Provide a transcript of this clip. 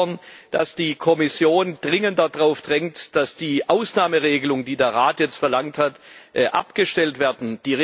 Wir fordern, dass die Kommission mit Nachdruck darauf drängt, dass die Ausnahmeregelungen, die der Rat jetzt verlangt hat, abgestellt werden.